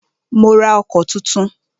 Mó rá ọkọ̀ túntún.